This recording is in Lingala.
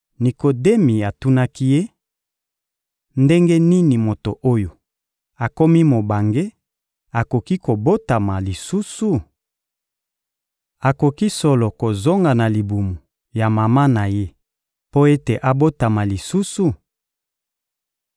Nikodemi atunaki Ye: — Ndenge nini moto oyo akomi mobange akoki kobotama lisusu? Akoki solo kozonga na libumu ya mama na ye mpo ete abotama lisusu?